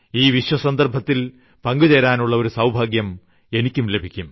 ഈ വിശ്വ സന്ദർഭത്തിൽ പങ്കു ചേരാനുള്ള ഒരു സൌഭാഗ്യം എനിക്കും ലഭിക്കും